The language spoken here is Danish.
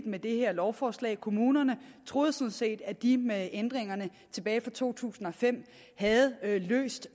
med det her lovforslag kommunerne troede sådan set at de med ændringerne tilbage fra to tusind og fem havde løst